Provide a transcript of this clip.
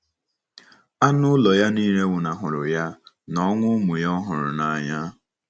Anụ ụlọ ya nile nwụnahụrụ ya, na ọnwụ ụmụ ya ọ hụrụ n’anya.